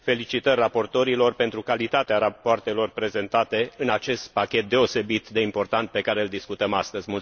Felicitări raportorilor pentru calitatea rapoartelor prezentate în acest pachet deosebit de important pe care îl discutăm astăzi.